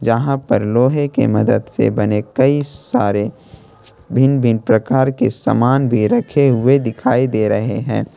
यहां पर लोहे के मदद से बने कई सारे भिन्न भिन्न प्रकार के सामान भी रखे हुए दिखाई दे रहे हैं।